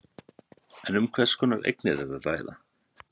En um hvers konar eignir er að ræða?